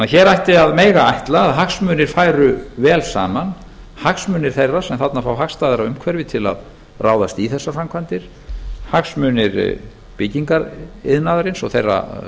hér ætti að mega ætla að hagsmunir færu vel saman hagsmunir þeirra sem þarna fá hagstæðara umhverfi til að ráðast í þessar framkvæmdir hagsmunir byggingariðnaðarins og þeirra